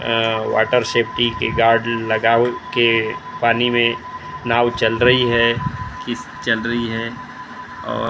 अ water safety के guard लगा के पानी में नाव चल रही है किस चल रही है और--